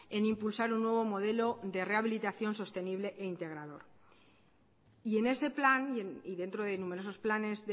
en impulsar un nuevo modelo de rehabilitación sostenible e integrador y en ese plan y dentro de numerosos planes